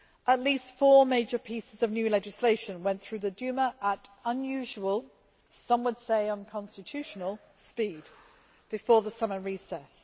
At least four major pieces of new legislation went through the Duma at unusual some would say unconstitutional speed, before the summer recess.